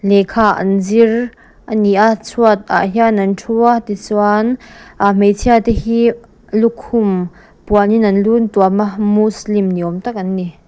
lehkha an zir a ni a chhuatah hian an thu a tichuan aaa hmeichhia te hi lukhum puanin an lu an tuam a muslim ni awm tak an ni.